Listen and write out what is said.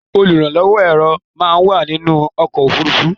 Olùrànlọ́wó èrò máa ń wà nínú ọkò òfurufú.